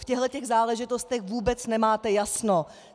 V těchhletěch záležitostech vůbec nemáte jasno!